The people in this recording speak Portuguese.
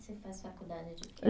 Você faz faculdade de quê?